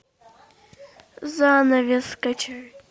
занавес скачай